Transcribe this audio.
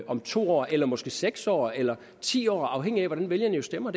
om to år eller måske seks år eller ti år afhængigt af hvordan vælgerne stemmer